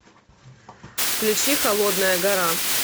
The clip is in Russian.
включи холодная гора